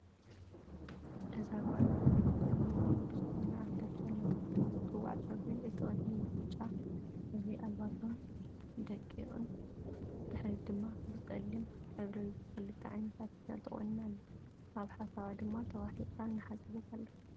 እዛ ጓል ኣነስተይቲ ዘመናዊ ብዝኾነ ኣርተፍሻል እናተባህለ ዝፅዋዕ ፀጉሪ እቲ ቅድሚ ብብጫ ሕብሪ ኣልባሶን ደቂቅን እቲ ድሕሪት ድማ ብፀሊም ሕብሪ ብክልተ ዓይነት ኣርተፍሻል ተቆኒና ኣላ፡፡ ኣብ ሓሳብ ድማ ተዋሒጣ እናሓሰበት ኣላ፡፡